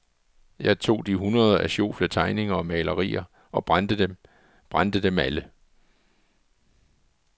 Jeg tog de hundreder af sjofle tegninger og malerier og brændte dem, brændte dem alle.